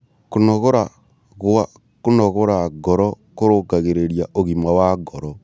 Kũnogora gwa kũnogora ngoro kũrũngagĩrĩrĩa ũgima wa ngoro